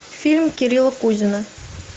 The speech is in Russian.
фильм кирилла кузина